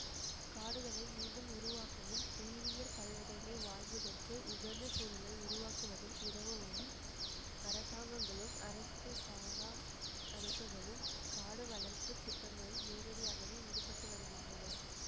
காடுகளை மீண்டும் உருவாக்கவும் உயிரியற் பல்வகைமை வாழ்வதற்கு உகந்த சூழலை உருவாக்குவதில் உதவவும் அரசாங்கங்களும் அரசு சாரா அமைப்புகளும் காடு வளர்ப்பு திட்டங்களில் நேரடியாகவே ஈடுபட்டு வருகின்றன